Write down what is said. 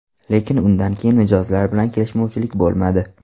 Lekin undan keyin mijozlar bilan kelishmovchilik bo‘lmadi.